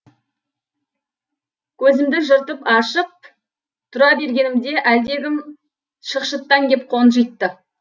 көзімді жыртып ашып тұра бергенімде әлдегім шықшыттан кеп қонжитты